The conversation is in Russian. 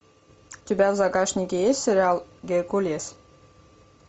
у тебя в загашнике есть сериал геркулес